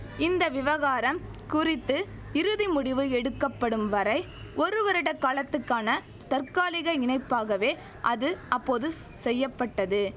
இந்த விவகாரம் குறித்து இறுதிமுடிவு எடுக்கப்படும் வரை ஒருவருட காலத்துக்கான தற்காலிக இணைப்பாகவே அது அப்போது செய்ய பட்டது